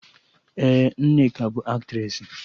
Ee, Nneka bụ Aktressị